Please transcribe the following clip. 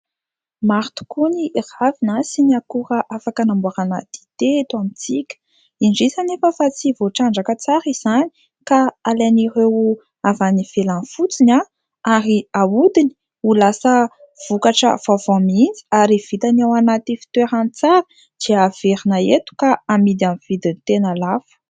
Maro tokoa ny ravina sy ny akora afaka hamboarana dite eto amintsika, indrisy anefa fa tsy voatrandraka tsara izany ka alain'ireo avy any ivelany fotsiny ary hahodiny ho lasa vokatra vaovao mihitsy ary vitany ao anaty fitoerany tsara, dia averina eto ka amidy amin'ny vidin'ny tena lafo.